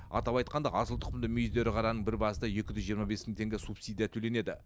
атап айтқанда асыл тұқымды мүйізді ірі қараның бір басына екі жүз жиырма бес мың теңге субсидия төленеді